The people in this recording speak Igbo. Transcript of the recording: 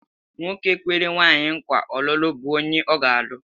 Nwoke kwere nwaanyị nkwa ọlụlụ bụ onye ọ ga-alụ.